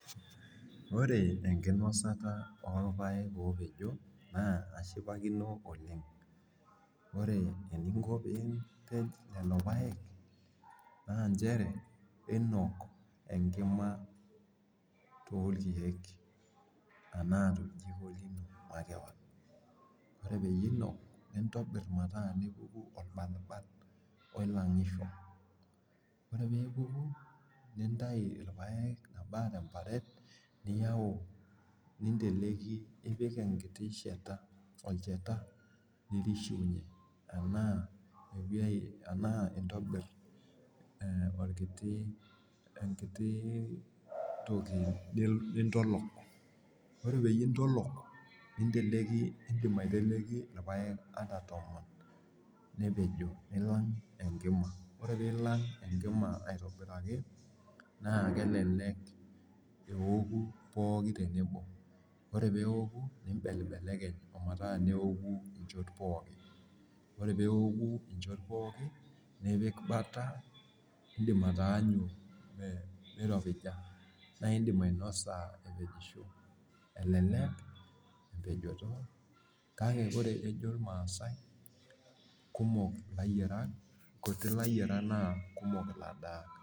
Oore enkinosata orpayek opejo naa kashipakino oleng. Oore eningo pee ipej lelo payek, naa inchere iinok enkima torkeek enaa toljikoi makeon. oore pee iinok, nintau irpayek nipik enkiti shaata, nintolok irpayek nepejo niilang enkima, oore pee eilang enkima neoku pooki tenebo nimbelekeny metaa neoku inchot pooki nipik bata naa iidim ainosa elelek empejeto kake eejjo irmaasae kutik ilayiarak kake kumok ilainosak.